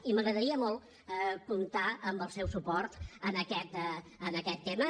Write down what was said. i m’agradaria molt comptar amb el seu suport en aquest tema